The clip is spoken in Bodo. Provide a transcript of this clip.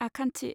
आखान्थि